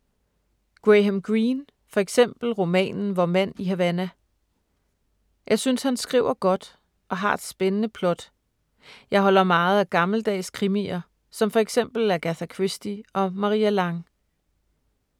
Graham Greene, for eksempel romanen Vor mand i Havana. Jeg synes han skriver godt og har spændende plot. Jeg holder meget af gammeldags krimier, som for eksempel Agatha Christie og Maria Lang.